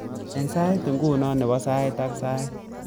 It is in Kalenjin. Cheng saitab nguno nebo sait ak sait